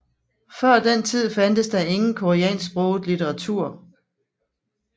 Før den tid fandtes der ingen koreansksproget litteratur